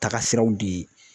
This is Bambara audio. Taga siraw de